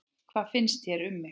Hvað mér finnst um þig?